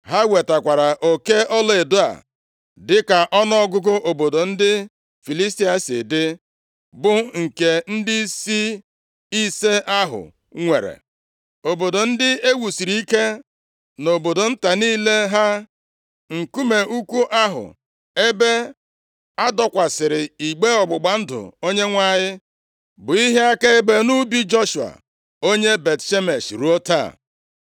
Ha wetakwara oke ọlaedo a dịka ọnụọgụgụ obodo ndị Filistia si dị, bụ nke ndịisi ise ahụ nwere, obodo ndị e wusiri ike, na obodo nta niile ha. Nkume ukwu ahụ ebe a dọkwasịrị igbe ọgbụgba ndụ Onyenwe anyị, bụ ihe akaebe nʼubi Joshua, onye Bet-Shemesh ruo taa.